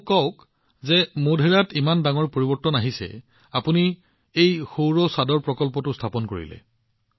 মোক কওঁক মোধেৰালৈ অহা ডাঙৰ পৰিৱৰ্তন আপুনি এই সৌৰ ৰুফটপ প্ৰকল্পটো স্থাপন কৰিছে